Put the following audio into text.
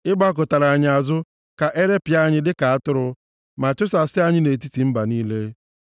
Ị gbakụtara anyị azụ ka e ripịa anyị dịka atụrụ, ma chụsasịa anyị nʼetiti mba niile.